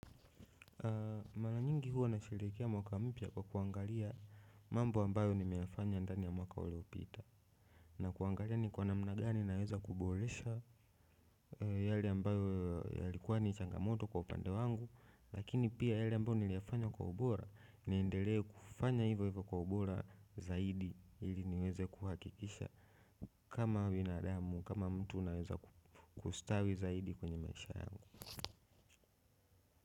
Mara nyingi huwa nasherekea mwaka mpya kwa kuangalia mambo ambayo nimeyafanya ndani ya mwaka uliopita na kuangalia ni kwa namna gani naweza kuboresha yale ambayo yalikuwa ni changamoto kwa upande wangu lakini pia yale ambayo niliyafanya kwa ubora niendele kufanya hivyo hivyo kwa ubora zaidi ili niweze kuhakikisha kama binadamu kama mtu naweza kustawi zaidi kwenye maisha yangu.